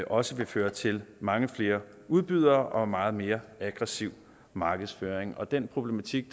også vil føre til mange flere udbydere og en meget mere aggressiv markedsføring og den problematik